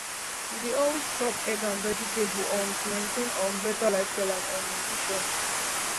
you dey always chop egg and vegetable um to maintain um better lifestyle and um nutrition